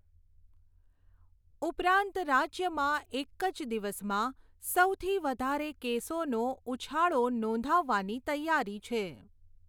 ઉપરાંત રાજ્યમાં એક જ દિવસમાં સૌથી વધારે કેસોનો ઊછાળો નોંધાવવાની તૈયારી છે.